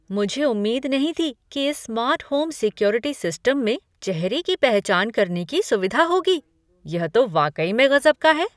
मुझे उम्मीद नहीं थी कि इस स्मार्ट होम सिक्योरिटी सिस्टम में चेहरे की पहचान करने की सुविधा होगी। यह तो वाकई में गज़ब का है!